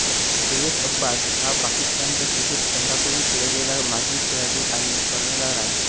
झहीर अब्बास हा पाकिस्तानच्या क्रिकेट संघाकडून खेळलेला माजी खेळाडू आणि कर्णधार आहे